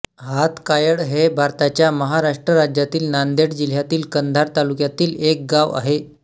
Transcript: हातकायळ हे भारताच्या महाराष्ट्र राज्यातील नांदेड जिल्ह्यातील कंधार तालुक्यातील एक गाव आहे